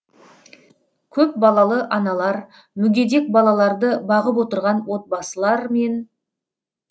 көпбалалы аналар мүгедек балаларды бағып отырған отбасылар мен